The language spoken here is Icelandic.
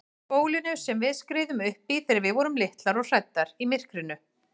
Bólinu sem við skriðum uppí þegar við vorum litlar og hræddar í myrkrinu.